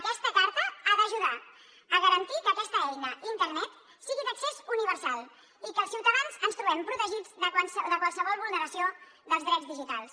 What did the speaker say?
aquesta carta ha d’ajudar a garantir que aquesta eina internet sigui d’accés universal i que els ciutadans ens trobem protegits de qualsevol vulneració dels drets digitals